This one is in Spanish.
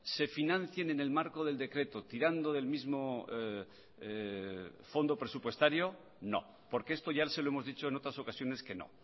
se financien en el marco del decreto tirando del mismo fondo presupuestario no porque esto ya se lo hemos dicho en otras ocasiones que no